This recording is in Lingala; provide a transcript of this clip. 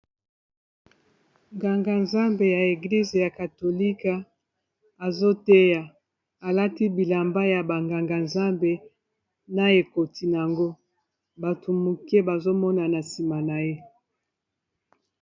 Nganga Nzambe ya eglize ya katolika azoteya alati bilamba ya ba nganga Nzambe na ekoti na yango bato moke bazo mona na nsima na ye.